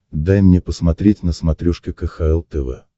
дай мне посмотреть на смотрешке кхл тв